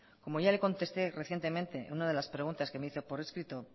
como ya le contesté recientemente en una de las preguntas que me hizo por escrito